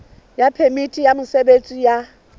ya phemiti ya mosebetsi ya